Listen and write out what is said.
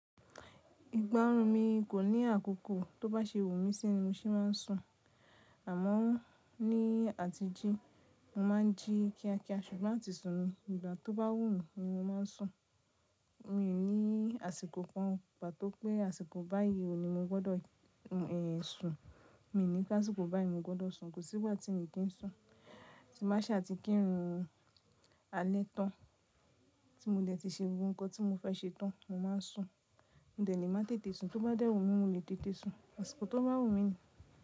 Ìgba orun mi kò ní àkókò tó bá ṣe wù mí sí ni mo ṣe máa ń sùn, àmọ́ ní àtijí mo máa ń jí kíakía ṣùgbọ́n àti sùn ni ìgbà tó bá wù mí ni mo máa ń sùn. Mi ò ní àsìkò kan pàtó pé àsìkò báyìí ò ní mo gbọ́dọ̀ ẹ sùn, mi ò ní pé àsìkò báyìí mo gbọ́dọ̀ sùn, kò síwájú tí ènìyí kii sùn. Ti má ṣà ti kí run alẹ́ tán tí mo dẹ̀ ti ṣe ohun kan tí mo fẹ́ ṣe tán mo máa ń sùn. Mò dẹ̀ lẹ́ máa tètè sùn tó bá dẹ́rùn mí mò lè tètè sùn àsìkò tó bá wù mí ni.